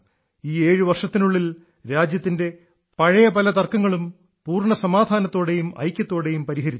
ഈ ഏഴു വർഷത്തിനുള്ളിൽ രാജ്യത്തിന്റെ പല പഴയ തർക്കങ്ങളും പൂർണ്ണ സമാധാനത്തോടെയും ഐക്യത്തോടെയും പരിഹരിച്ചു